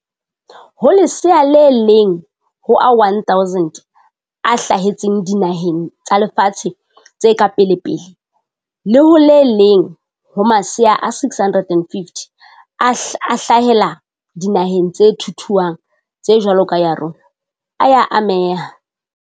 Ho lesea le leng ho a 1 000 a hla hetseng dinaheng tsa lefatshe tse ka pelepele le ho le leng ho masea a 650 a hlahela dinaheng tse thuthuhang tse jwalo ka ya rona, a ya ameha.